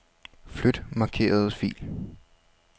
Flyt markerede fil.